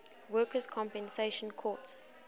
workers compensation court